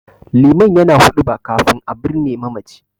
Liman yana huɗuba kafin a birne mamaci.